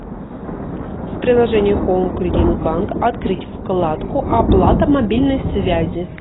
в приложении хоум кредит банк открыть вкладку оплата мобильной связи